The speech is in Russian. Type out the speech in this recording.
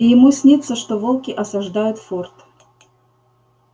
и ему снится что волки осаждают форт